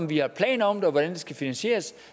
vi har planer om det og hvordan det skal finansieres